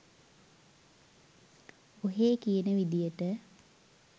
ඔහේ කියන විදියට